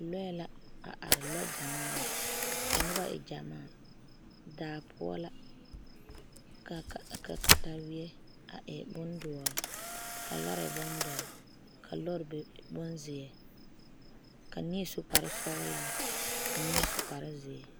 Lɔɛ la a are, lɔɔ gyamaa la daa poɔ la ka katawie a e bin doɔre ka lɔre e bon doɔre ka lɔre e bon zeɛ, ka neɛ su kpare sɔglaa ka neɛ su kpare zeɛ.